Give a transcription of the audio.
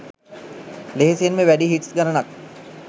ලෙහෙසියෙන්ම වැඩි හිට්ස් ගණනක්